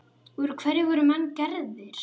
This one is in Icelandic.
Úr hverju voru menn gerðir?